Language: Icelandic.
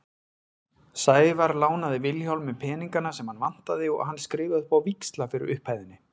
Sævar lánaði Vilhjálmi peningana sem hann vantaði og hann skrifaði upp á víxla fyrir upphæðinni.